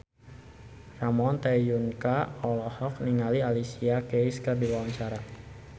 Ramon T. Yungka olohok ningali Alicia Keys keur diwawancara